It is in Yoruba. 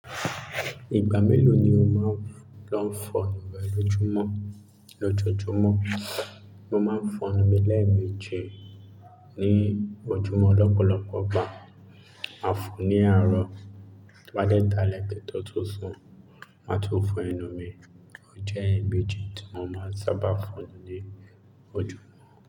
Ìgbà mélòó ni o máa ń lọ fọ ẹnu rẹ lójoójúmọ́? Lójojúmọ́, mo máa ń fọn ẹnu mi lẹ́ẹ̀meji ní ojúmọ́ lọ́pọ̀lọpọ̀ ìgbà. Màá fọ ní àárọ̀, tí mo bá dẹ́ dalẹ́ ki n to tún sun, màá tún fọ ẹnu mi. Ó jẹ́ èébú èjì tí mo máa ń sábà fọn ní ojúmọ́.